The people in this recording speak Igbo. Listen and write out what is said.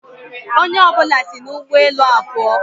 Onye ọ bụla si n'ụgbọ elu a pụọ.